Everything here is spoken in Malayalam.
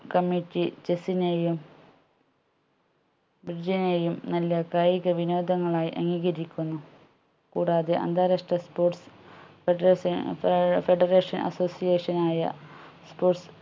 committeechess നെയും നെയും നല്ല കായിക വിനോദമായി അംഗീകരിക്കുന്നു കൂടാതെ അന്താരാഷ്ട്ര sports federation ഏർ federation association ആയ sports